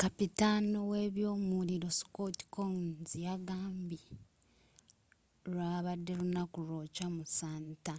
kapitaano w'ebyomuliro scott kouns yagambye lwabadde lunaku lwokya mu santa